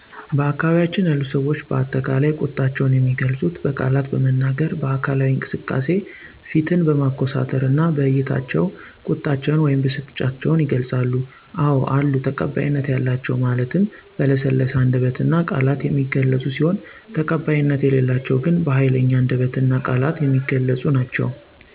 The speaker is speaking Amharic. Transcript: በአካባቢያችን ያሉ ሰዎች በአጠቃላይ ቁጣቸውን የሚገልፁት በቃላት በመናገር፣ በአካላዊ እንቅስቃሴ፣ ፊትን በማኮሳተርና በዕይታቸው ቁጣቸውን ወይም ብስጭታቸውን ይገልፃሉ። አዎ አሉ ተቀባይነት ያላቸው ማለት በለሰለሰ አንደበትና ቃላት የሚገለፁ ሲሆን ተቀባይነት የሌላቸው ግን በሀይለኛ አንደበትና ቃላት የሚገለፁ ናቸው።